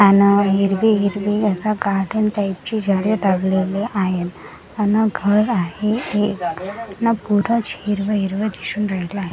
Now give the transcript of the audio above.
आन हिरवी-हिरवी असा गार्डन टाईप ची झाडं लावलेली आहेत अन घर आहे एक अन पुराच हिरवं-हिरवं दिसून राहिला आहे.